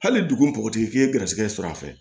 Hali dugu bɔgɔtigi k'i ye garisigɛ sɔrɔ a fɛ